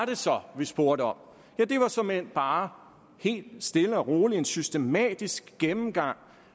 det så vi spurgte om det var såmænd bare helt stille og roligt en systematisk gennemgang